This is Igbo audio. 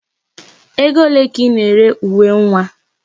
Ego ole ka Ị na-ere uwe nwa a?